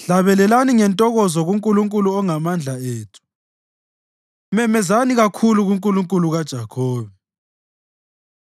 Hlabelelani ngentokozo kuNkulunkulu ongamandla ethu; memezani kakhulu kuNkulunkulu kaJakhobe!